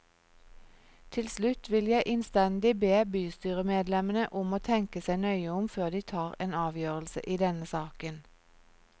Til slutt vil jeg innstendig be bystyremedlemmene om å tenke seg nøye om før de tar en avgjørelse i denne saken.